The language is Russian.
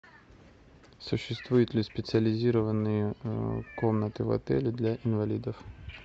существуют ли специализированные комнаты в отеле для инвалидов